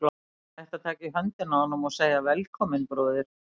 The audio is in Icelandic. Ég ætti að taka í höndina á honum og segja: Velkominn, bróðir.